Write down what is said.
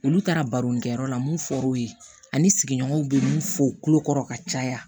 Olu taara baronikɛyɔrɔ la mun fɔr'u ye ani sigiɲɔgɔnw bɛ mun fɔ u tulo kɔrɔ ka caya